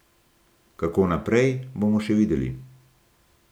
Kako naprej, bomo še videli.